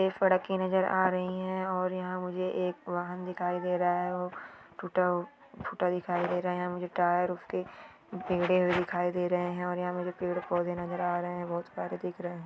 एक फड़की नजर आ रही है और यहाँ मुझे एक वाहन दिखाई दे रहा है वो टुटा फूटा दिखाय दे रहा है मुझे टायर उसके टेड़े हुए दिखाय दे रहे है और यहाँ मुझे पेड़ पोधे नज़र आ रहे बहुत सारे दिख रहे है।